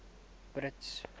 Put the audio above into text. brits